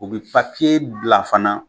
O bi bila fana